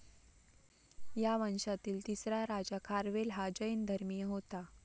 या वंशातील तिसरा राजा खारवेल हा जैन धर्मीय होता.